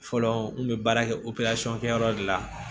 Fɔlɔ n kun bɛ baara kɛ kɛ yɔrɔ de la